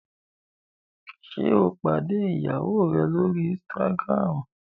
ṣe o pàdé ìyàwó rẹ l'ori Instagram?